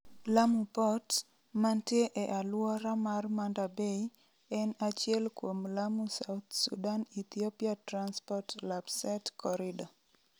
Lamu Port, mantie e alwora mar Manda Bay, en achiel kuom Lamu South Sudan Ethiopia Transport (Lapsset) corridor.